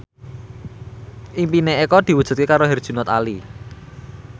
impine Eko diwujudke karo Herjunot Ali